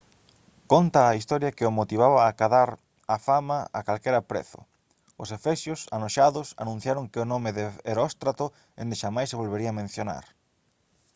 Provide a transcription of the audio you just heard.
conta a historia que o motivaba acadar a fama a calquera prezo os efesios anoxados anunciaron que o nome de heróstrato endexamais se volvería mencionar